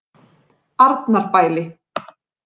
Arnarbæli